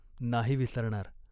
"नाही विसरणार.